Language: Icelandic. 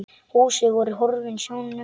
Húsin voru horfin sjónum.